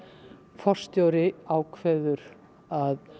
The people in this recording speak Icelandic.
forstjóri ákveður að